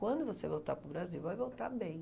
Quando você voltar para o Brasil, vai voltar bem.